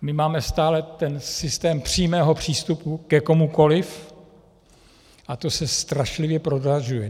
My máme stále ten systém přímého přístupu ke komukoliv a to se strašlivě prodražuje.